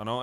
Ano.